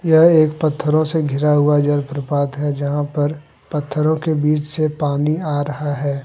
यह एक पत्थरों से घिरा हुआ जल प्रपात है जहां पर पत्थरों के बीच से पानी आ रहा है।